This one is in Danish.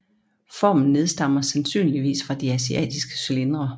Formen nedstammer sandsynligvis fra de asiatiske cylindre